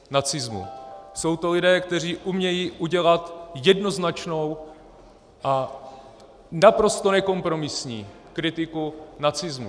Jsou to lidé, kteří umějí udělat jednoznačnou a naprosto nekompromisní kritiku nacismu.